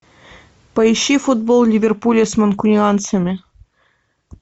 поищи футбол ливерпуля с манкунианцами